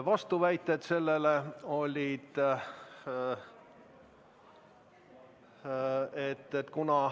Mina esitasin vastuväite.